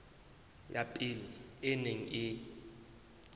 ya pele e neng e